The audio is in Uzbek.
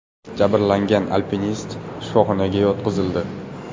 Jabrlangan alpinist shifoxonaga yotqizildi.